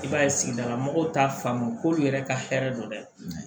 I b'a ye sigidala mɔgɔw t'a faamu k'olu yɛrɛ ka hɛrɛ don dɛ